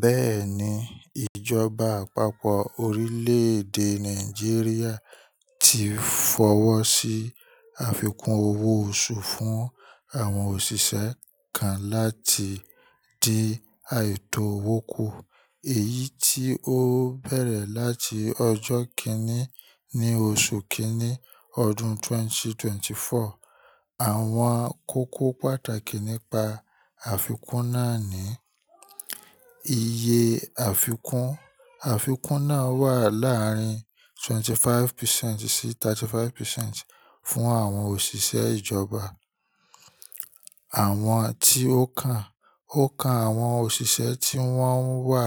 Bẹ́ẹ̀ni, ìjọba àpapọ̀ orílẹ̀èdè Nàìjíríà ti fọwọ́ sí àfikún owó oṣù fún àwọn òṣìṣẹ́ kan láti di àìtó wòkú. Èyí tí ó bẹ̀rẹ̀ láti ọjọ́ kínní ní oṣù kínní ọdún 2024. Àwọn kókó pàtàkì nípa àfikún náà ni: Iye àfikún, àfikún náà wà láàárín 25% sí 35% fún àwọn òṣìṣẹ́ ìjọba. Àwọn tí ó kan, ó kan àwọn òṣìṣẹ́ tí wọ́n wà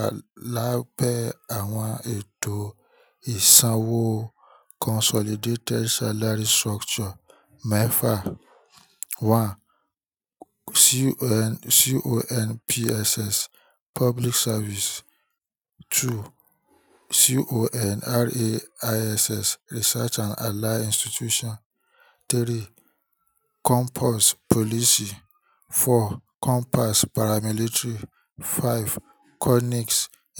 lábẹ́ àwọn ètò ìsanwó Consolidated Salary Structure mẹ́fà. One, CONPSS, Public Service. Two, CONRAISS, Research and Allied Institution. Three: COMPASS, Police. Four, COMPASS, Paramilitary. Five: CONIC,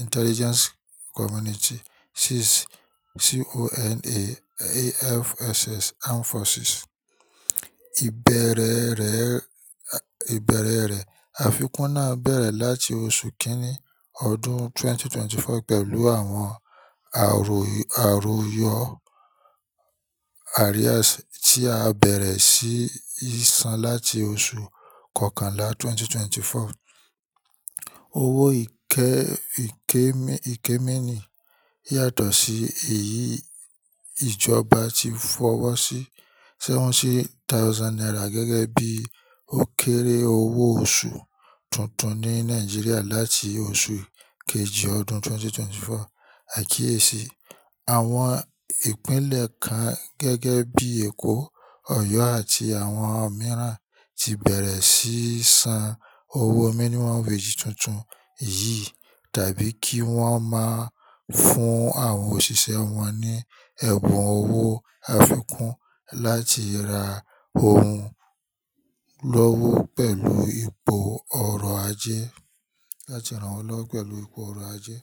Intelligence Community. Six: CONAFSS, Armed Forces. Ìbẹ̀rẹ̀ rẹ̀, ìbẹ̀rẹ̀ rẹ̀, àfikún náà bẹ̀rẹ̀ láti oṣù kínní ọdún 2024 pẹ̀lú àwọn àrò-àròyọ̀ Arrears tí á bẹ̀rẹ̀ sí ìsan láti oṣù kọkànlá 2024. Owó ìkẹ́-ìkẹ́-ìkẹ́ míní yàtọ̀ sí èyí ìjọba ti fọwọ́ sí 70,000 naira gẹ́gẹ́ bí ó kéré owó oṣù tuntun ní Nàìjíríà láti oṣù kejì ọdún 2024. Àkíyèsí, àwọn ìpínlẹ̀ kan gẹ́gẹ́ bí Èkó, Ọ̀yọ́ àti àwọn mìíràn ti bẹ̀rẹ̀ síí san owó minimum wage tuntun yìí tàbí kí wọ́n máa fún àwọn òṣìṣẹ́ wọn ní ẹ̀bùn owó àfikún láti ra ohun lọ́wọ́ pẹ̀lú ipò ọrọ̀ ajé, láti rànwọ́ lọ́wọ́ pẹ̀lú ipò ọrọ̀ ajé.